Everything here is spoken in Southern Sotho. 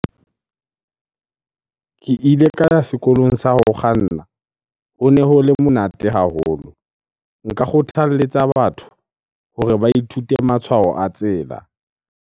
Ke ile ka ya sekolong sa ho kganna. Hone ho le monate haholo. Nka kgothaletsa batho hore ba ithute matshwao a tsela.